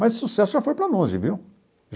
Mas o sucesso já foi para longe, viu?